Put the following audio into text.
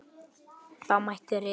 Þá mætti rita